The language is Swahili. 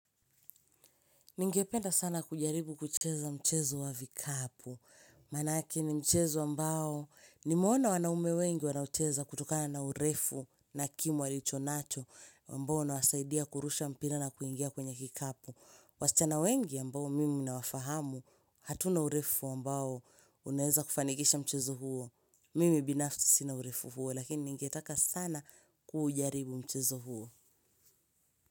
Ningependa sana kujaribu kucheza mchezo wa vikapu, manake ni mchezo ambao nimeona wanaume wengi wanaucheza kutokana na urefu na kimo walicho nacho ambao unawasaidia kurusha mpira na kuingia kwenye kikapu. Wasichana wengi ambao mimi nawafahamu hatuna urefu ambao unaeza kufanikisha mchezo huo, mimi binafsi sina urefu huo lakini ningetaka sana kujaribu mchezo huo.